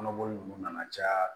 Kɔnɔboli nunnu nana caya